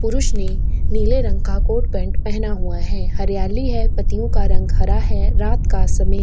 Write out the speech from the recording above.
पुरुष ने नीले रंग का कोट पॅन्ट पहना हुआ है हरियाली है पत्तियों का रंग हरा है रात का समय --